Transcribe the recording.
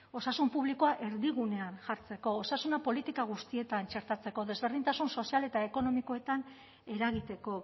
osasun publikoa erdigunean jartzeko osasuna politika guztietan txertatzeko desberdintasun sozial eta ekonomikoetan eragiteko